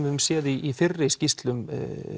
höfum séð í fyrri skýrslum